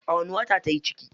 A wani wata tayi ciki?